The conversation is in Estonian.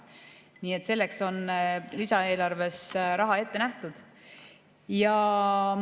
Nii et selleks on lisaeelarves raha ette nähtud.